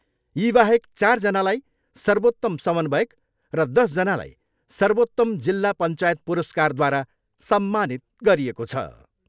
यीबाहेक चारजनालाई सर्वोत्तम समन्वयक र दसजनालाई सर्वोत्तम जिल्ला पञ्चायत पुरस्कारद्वारा सम्मानित गरिएको छ।